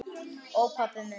Ó, pabbi minn.